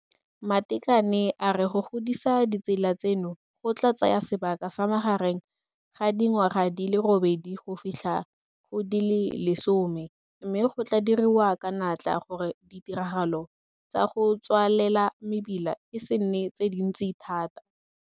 Matekane a re go godisa ditsela tseno go tla tsaya sebaka sa magareng ga dingwaga di le robedi go fitlha go di le 10 mme go tla diriwa ka natla gore ditiragalo tsa go tswalela mebila e se nne tse dintsi thata.